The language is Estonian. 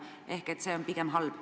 Ehk see on pigem halb.